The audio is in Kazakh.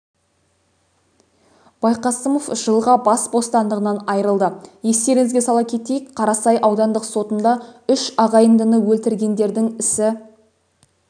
байқасымов жылға бас бостандығынан айырылды естеріңізге сала кетейік қарасай аудандық сотында үш ағайындыны өлтіргендердің ісі